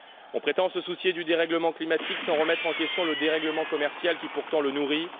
On prétend se soucier du dérèglement climatique, sans remettre en question le dérèglement commercial qui pourtant le nourrit.